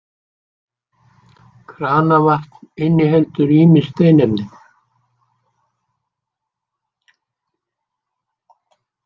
Kranavatn inniheldur ýmis steinefni.